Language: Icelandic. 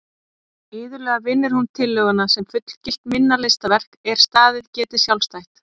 Iðulega vinnur hún tillöguna sem fullgilt minna listaverk er staðið geti sjálfstætt.